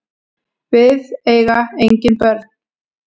Við eiga engin börn.